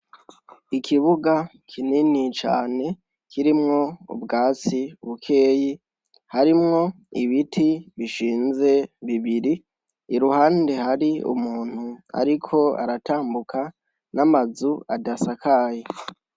Ikibuga kinini cane kirimwo ubwatsi bukeyi, harimwo ibiti bishinze bibiri, iruhande hari umuntu ariko aratambuka, n'amazu adasakaye.